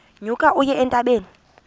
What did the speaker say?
nyuka uye entabeni